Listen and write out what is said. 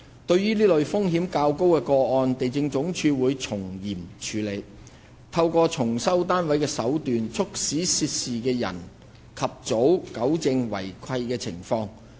對於這類風險較高的個案，地政總署會從嚴處理，透過重收單位的手段，促使涉事人及早糾正違契情況。